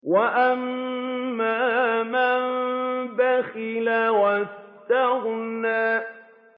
وَأَمَّا مَن بَخِلَ وَاسْتَغْنَىٰ